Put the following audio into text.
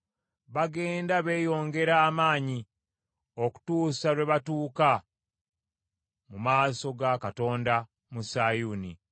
Bagenda beeyongera amaanyi, okutuusa lwe batuuka mu maaso ga Katonda mu Sayuuni.